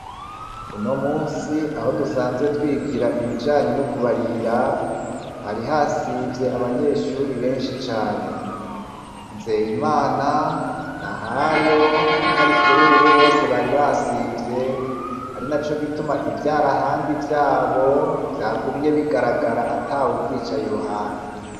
Uno musi aho dusanzwe twigira ibijanye n'ukubarira, hari hasivye abanyeshuri benshi cane. nzey’Imana na hayo na karikuri, ubu bose bari basivye ari na co gituma ivyara handi vyabo vyagumye bigaragara atawubyicaye i ruhande.